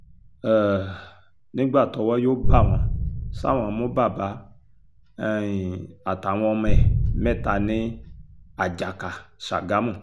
um nígbà tọ́wọ́ yóò bá wọn ṣá wọn mú bàbá um àtàwọn ọmọ ẹ̀ mẹ́ta ní àjàkà ṣágámù